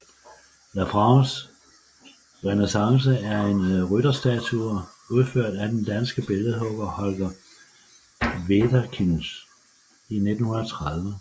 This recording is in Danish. La France renaissante er en rytterstatue udført af den danske billedhugger Holger Wederkinch i 1930